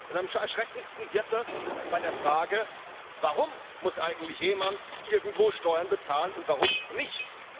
Am erschreckendsten wird das bei der Frage Warum muss eigentlich jemand irgendwo Steuern bezahlen und warum nicht?